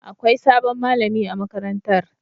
Akwai sabon malami a makarantar.